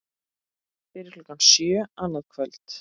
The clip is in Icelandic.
Fyrir klukkan sjö annað kvöld